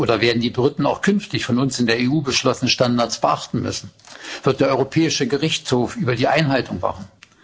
Oder werden die Briten auch künftig von uns in der EU beschlossene Standards beachten müssen? Wird der Europäische Gerichtshof über die Einhaltung wachen?